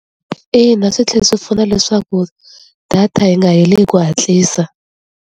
Ina swi tlhela swi pfuna leswaku data yi nga heli hi ku hatlisa.